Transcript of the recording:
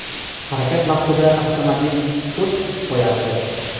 Harakat vaqtida avtomobil ko‘z qisib qo‘yardi.